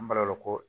An balakaw ko